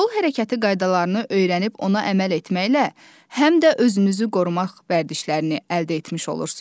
Yol hərəkəti qaydalarını öyrənib ona əməl etməklə həm də özünüzü qorumaq vərdişlərini əldə etmiş olursunuz.